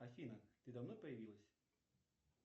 афина ты давно появилась